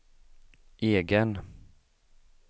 egen